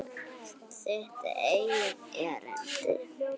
Þitt eigið erindi.